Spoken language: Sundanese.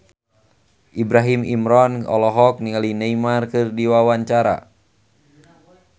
Ibrahim Imran olohok ningali Neymar keur diwawancara